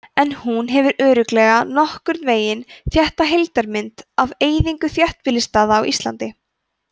en hún gefur örugglega nokkurn veginn rétta heildarmynd af eyðingu þéttbýlisstaða á íslandi